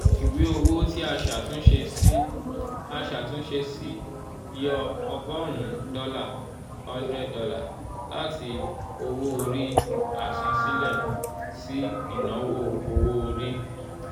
ìwé owó tí a ṣàtúnṣe sí a ṣàtúnṣe sí yọ ọgọ́rùn-ún dọ́là ($ one hundred ) láti owó-orí àsansílẹ̀ sí ìnáwó owó-orí.